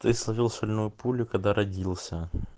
ты сложил соляную пулю когда родился